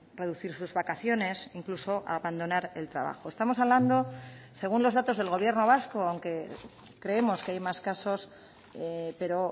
reducir sus vacaciones incluso abandonar el trabajo estamos hablando según los datos del gobierno vasco aunque creemos que hay más casos pero